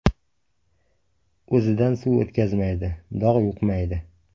O‘zidan suv o‘tkazmaydi, dog‘ yuqmaydi.